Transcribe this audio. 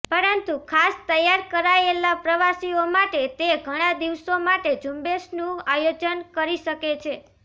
પરંતુ ખાસ તૈયાર કરાયેલા પ્રવાસીઓ માટે તે ઘણા દિવસો માટે ઝુંબેશનું આયોજન કરી શકે છે